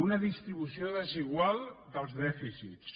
una distribució desigual dels dèficits